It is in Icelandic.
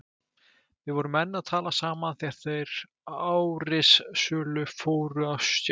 Við vorum enn að tala saman þegar þeir árrisulu fóru á stjá.